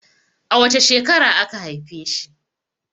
A wace shekara aka haife shi?